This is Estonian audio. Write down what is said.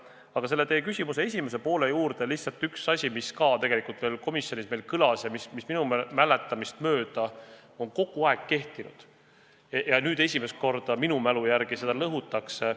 Aga selle teie küsimuse esimese poole juurde lihtsalt üks asi, mis ka tegelikult veel komisjonis meil kõlas ja mis minu mäletamist mööda on kogu aeg kehtinud ja nüüd esimest korda minu mälu järgi seda lõhutakse.